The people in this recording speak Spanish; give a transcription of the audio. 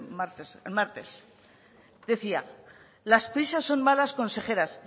martes el martes decía las prisas son malas consejeras